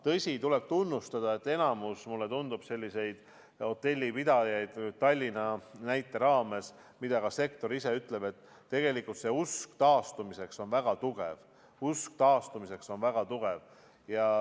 Tõsi, tuleb tunnistada, et enamikul sellistel hotellipidajatel Tallinnas – seda ütleb ka sektor ise – on usk taastumisse väga tugev.